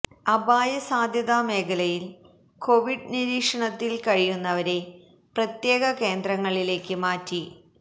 അപായ സാധ്യത മേഖലയിൽ കൊവിഡ് നിരീക്ഷണത്തിൽ കഴിയുന്നവരെ പ്രത്യേക കേന്ദ്രങ്ങളിലേക്ക് മാറ്റി